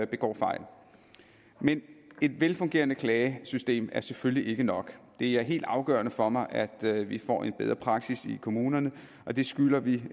begår fejl men et velfungerende klagesystem er selvfølgelig ikke nok det er helt afgørende for mig at vi får en bedre praksis i kommunerne og det skylder vi